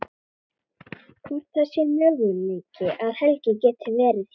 Hvort það sé möguleiki að Helgi geti verið hjá.